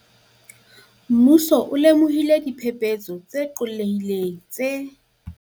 Mmuso o lemohile diphe-phetso tse qollehileng tse